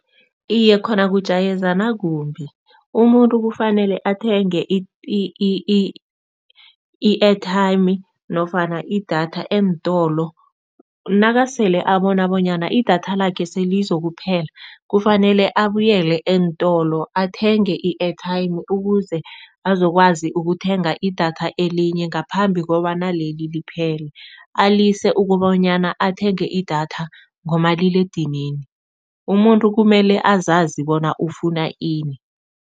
Iye, khona kujayezana kumbi, umuntu kufanele athenge i-airtime nofana idatha eentolo. Nasele abona bonyana idatha lakhe selizokuphela kufanele abuyele eentolo athenge i-airtime, ukuze azokwazi ukuthenga idatha elinye ngaphambi kobana leli liphele. Alise kobanyana athenge idatha ngomaliledinini, umuntu kumele azazi bona ufuna ini.